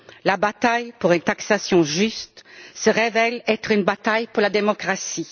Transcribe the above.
La bataille pour une taxation juste se révèle être une bataille pour la démocratie.